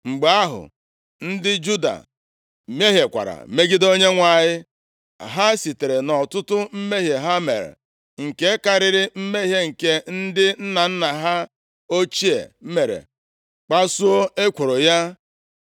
Mgbe ahụ, ndị Juda mehiekwara megide Onyenwe anyị. Ha sitere nʼọtụtụ mmehie ha mere, nke karịrị mmehie nke ndị nna nna ha ochie mere, kpasuo ekworo ya.